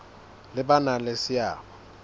le ba nang le seabo